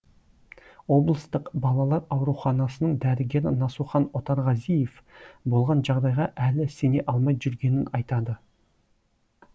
облыстық балалар ауруханасының дәрігері насухан отарғазиев болған жағдайға әлі сене алмай жүргенін айтады